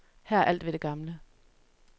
Her er alt ved det gamle.